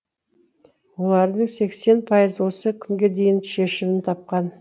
олардың сексен пайызы осы күнге дейін шешімін тапқан